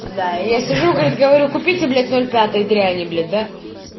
да я сижу и говорит говорю купите блять ноль пятой дряни блять да